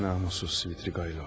Namuslu Svidrigaylov.